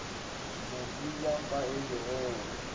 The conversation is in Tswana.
moseja fa e le gore